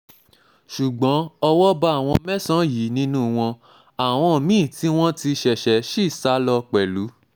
ṣùgbọ́n ṣùgbọ́n owó bá àwọn mẹ́sàn-án yìí nínú wọn àwọn mí-ín tí wọ́n ti ṣẹ̀ṣẹ̀ ṣí sá lọ pẹ̀lú